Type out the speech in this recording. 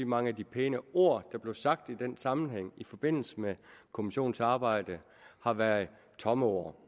mange af de pæne ord der blev sagt i den sammenhæng i forbindelse med kommissionens arbejde har været tomme ord